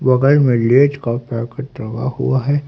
बगल में लेज का पैकेट टंगा हुआ है।